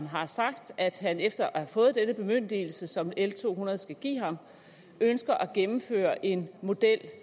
har sagt at han efter at have fået denne bemyndigelse som l to hundrede skal give ham ønsker at gennemføre en model